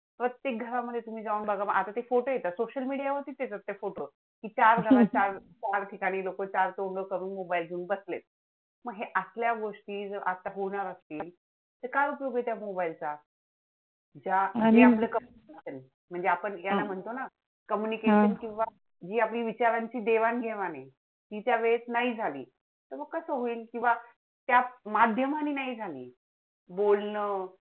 म्हणजे आपण जे म्हणतो ना communication अह किंवा जी आपली विचारांची देवाण घेवाण आहे, ती त्यावेळेत नाही झाली, तर मग कसं होईल? किंवा त्या माध्यमांनी नाही झाली, बोलणं